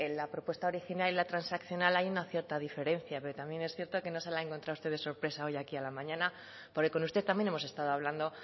la propuesta original y la transaccional hay una cierta diferencia pero también es cierto que no se la ha encontrado usted de sorpresa hoy aquí a la mañana porque con usted también hemos estado hablando